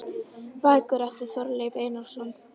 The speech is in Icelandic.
Bækur eftir Þorleif Einarsson